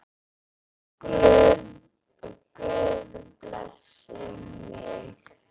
Guð blessi mig.